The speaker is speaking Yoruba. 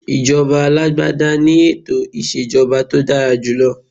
Ijoba alagbada ni eto ìṣèjọba tó dára jù